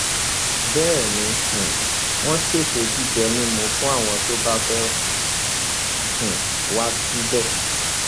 bẹẹ ni um wọn ṣètò jíjẹ mímu fún àwọn tó bá fẹẹ um wá síbẹ